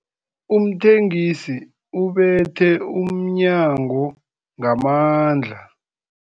Umthengisi ubethe umnyango ngamandla.